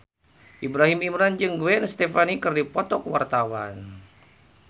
Ibrahim Imran jeung Gwen Stefani keur dipoto ku wartawan